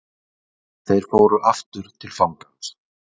Þeir fóru aftur til fangans.